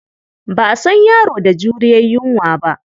Ba a san yaro da juriyar yunwa ba.